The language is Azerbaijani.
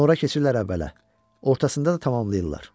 Sonra keçirlər əvvələ, ortasında da tamamlayırlar.